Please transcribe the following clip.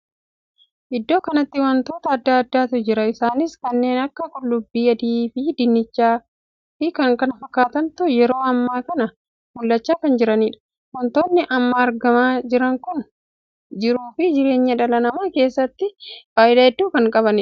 Iddoo kanatti wantoota addaa addaatu jira. isaanis kanneen akka qullubbii adii fi dinnichaa fi kan kana fakkaatantu yeroo ammaa kan mul'achaa kan jiraniidha. wantonni amma argamaa jiran kun jiruu fi jireenya dhala namaa keessatti faayidaa hedduu kan qabuudha.